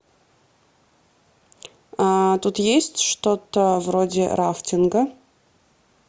тут есть что то вроде рафтинга